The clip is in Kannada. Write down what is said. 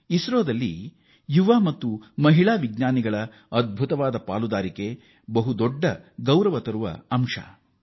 ಇಸ್ರೋದ ಈ ಯಶಸ್ಸಿನಲ್ಲಿ ಯುವ ಮತ್ತು ಮಹಿಳೆಯರ ಪ್ರಮುಖ ಪಾಲ್ಗೊಳ್ಳುವಿಕೆ ಮತ್ತೊಂದು ಹೆಮ್ಮೆಯ ವಿಷಯವಾಗಿದೆ